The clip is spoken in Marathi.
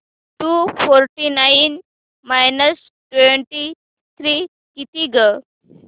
to forty nine minus twenty three किती गं